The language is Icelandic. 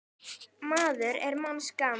maður er manns gaman.